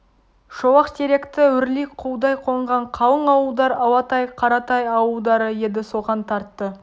шолақтеректі өрлей құлдай қонған қалың ауылдар алатай қаратай ауылдары еді соған тартты